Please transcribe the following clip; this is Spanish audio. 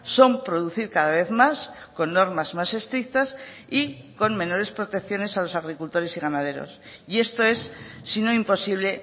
son producir cada vez más con normas más estrictas y con menores protecciones a los agricultores y ganaderos y esto es sino imposible